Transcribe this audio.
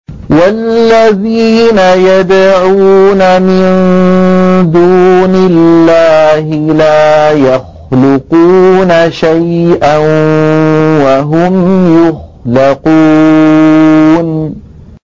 وَالَّذِينَ يَدْعُونَ مِن دُونِ اللَّهِ لَا يَخْلُقُونَ شَيْئًا وَهُمْ يُخْلَقُونَ